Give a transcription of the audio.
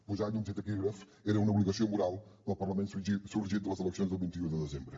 posar llums i taquígrafs era una obligació moral del parlament sorgit de les eleccions del vint un de desembre